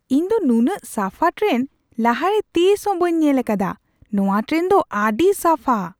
ᱤᱧ ᱫᱚ ᱱᱩᱱᱟᱹᱜ ᱥᱟᱯᱷᱟ ᱴᱨᱮᱱ ᱞᱟᱦᱟᱨᱮ ᱛᱤᱥ ᱦᱚᱸ ᱵᱟᱹᱧ ᱧᱮᱞ ᱟᱠᱟᱫᱟ ! ᱱᱚᱣᱟ ᱴᱨᱮᱱ ᱫᱚ ᱟᱹᱰᱤ ᱥᱟᱯᱷᱟ !